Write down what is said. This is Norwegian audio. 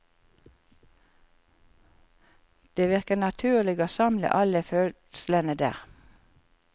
Det virker naturlig å samle alle fødslene der.